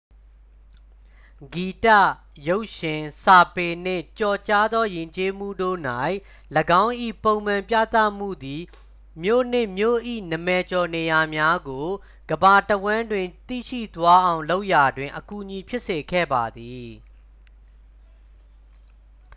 ဂီတ ရုပ်ရှင် စာပေနှင့် ကျော်ကြားသောယဉ်ကျေးမှုတို့၌ ၎င်း၏ ပုံမှန်ပြသမှုသည် မြို့နှင့် မြို့၏နာမည်ကျော်နေရာများကို ကမ္ဘာတစ်ဝှမ်းတွင်သိရှိသွားအောင်လုပ်ရာတွင် အကူအညီဖြစ်စေခဲ့ပါသည်